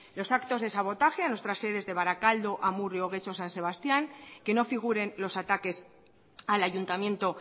los actos de sabotaje a nuestras sedes de barakaldo amurrio getxo o san sebastían que no figuren los ataques al ayuntamiento